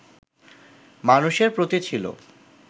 মানুষের প্রতি ছিল